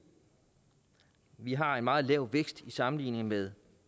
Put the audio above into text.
vi har en meget lav vækst sammenlignet med